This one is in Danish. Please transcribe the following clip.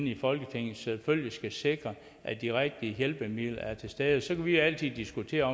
i folketinget selvfølgelig skal sikre at de rigtige hjælpemidler er til stede så kan vi jo altid diskutere